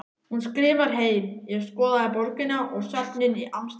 Hún skrifar heim: Ég skoðaði borgina og söfnin í Amsterdam.